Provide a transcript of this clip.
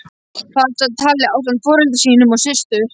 Þar sat Halli ásamt foreldrum sínum og systur.